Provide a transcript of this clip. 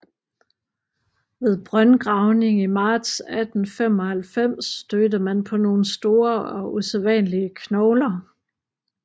Ved brøndgravning i marts 1895 stødte man på nogle store og usædvanlige knogler